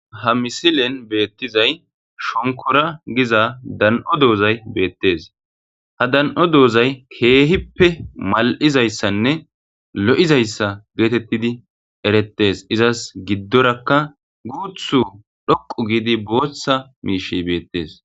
Ha misilen be'ettizayi shonkoora giza da'ano dozayi be'ettees. Ha da'ano dozayi keehippe mal'iza issanne lo'iza issa qonccidi erettees. Isas giddorakka guutsa toqqu gidda bootha mishshikka be'ettees.